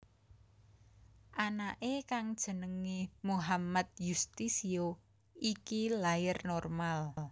Anake kang jenéngé Muhammad Yustisio iki lair normal